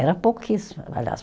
Era pouquíssimo, aliás